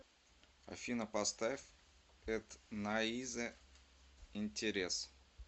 афина поставь этнаизе интерес